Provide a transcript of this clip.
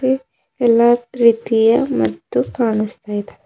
ಎಲ್ಲಾ ರೀತಿಯ ಮದ್ದು ಕಾನಸ್ತಾ ಇದೆ.